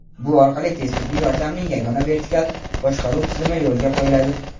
Bu orqali tez tibbiy yordamning yagona vertikal boshqaruv tizimi yo‘lga qo‘yiladi.